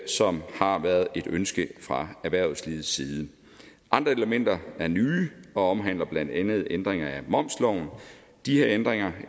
som har været et ønske fra erhvervslivets side andre elementer er nye og omhandler blandt andet ændringer af momsloven de her ændringer